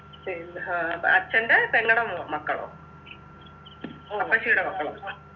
പിന്നെ ആഹ് അച്ഛൻ്റെ പെങ്ങടെ മോ മക്കളോ അപ്പച്ചീടെ മക്കളോ